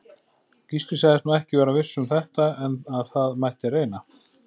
Gísli sagðist nú ekki vera viss um þetta, en að það mætti reyna.